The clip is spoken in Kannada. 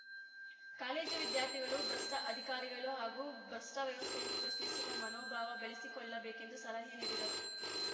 ಕಾಲೇಜು ವಿದ್ಯಾರ್ಥಿಗಳು ಭ್ರಷ್ಟಅಧಿಕಾರಿಗಳು ಹಾಗೂ ಭ್ರಷ್ಟವ್ಯವಸ್ಥೆಯನ್ನು ಪ್ರಶ್ನಿಸುವ ಮನೋಭಾವ ಬೆಳೆಸಿಕೊಳ್ಳಬೇಕೆಂದು ಸಲಹೆ ನೀಡಿದರು